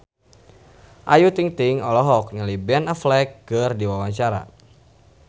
Ayu Ting-ting olohok ningali Ben Affleck keur diwawancara